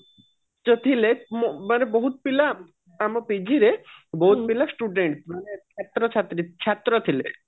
ଯେ ଥିଲେ ମାନେ ବହୁତ ପିଲା ଆମ ପୁଞ୍ଜିରେ ବହୁତ ପିଲା student ମାନେ ଛାତ୍ର ଛାତ୍ରୀ ମାନେ ଛାତ୍ର ଥିଲେ